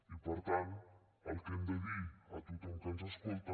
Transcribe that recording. i per tant el que hem de dir a tothom que ens escolta